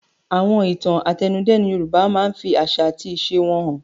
Àwọn ìtàn àtẹnudẹ́nu Yorùbá máa ń fi àṣà àti ìṣe wọn hàn.